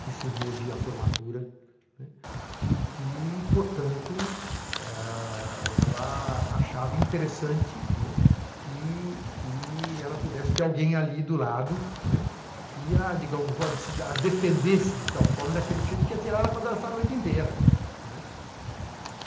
que cismou de ir à formatura, né, e que, portanto, ah ela achava interessante, né, que que ela pudesse ter alguém ali do lado, né, que a digamos defendesse de tal forma, daquele que ia tirar ela para dançar a noite inteira, não é?